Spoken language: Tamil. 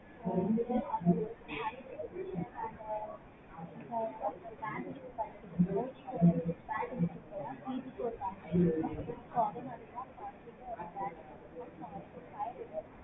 so வந்து அது high resolution அது இப்போ ஒரு bandwidth கிடைக்குது four G க்கு ஒரு bandwidth இருக்குதுனா three G க்கு ஒரு bandwidth இருக்கும். so அதே மாதிரி தான் five G க்கும் ஒரு bandwidth இருக்கு.